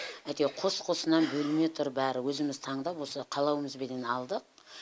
әйтеуір қос қосынан бөлме тұр бәрі өзіміз таңдап осы қалауымызбенен алдық